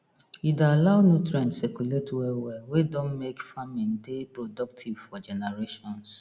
e dey allow nutrient circulate well well wey don make farming dey productive for generations